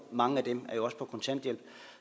mange af dem er jo også på kontanthjælp